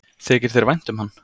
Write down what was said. Þykir þér vænt um hann?